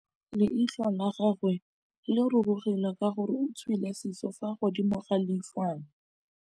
Leitlhô la gagwe le rurugile ka gore o tswile sisô fa godimo ga leitlhwana.